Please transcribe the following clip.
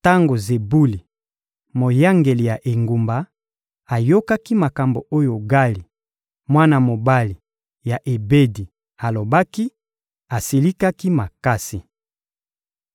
Tango Zebuli, moyangeli ya engumba, ayokaki makambo oyo Gali, mwana mobali ya Ebedi, alobaki, asilikaki makasi.